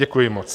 Děkuji moc.